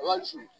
Wa su